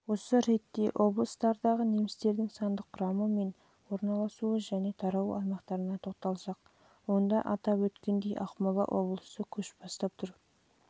осы ретте облыстардағы немістердің сандық құрамы мен орналасу және таралу аймақтарына тоқталсақ онда атап өткендей ақмола облысы көш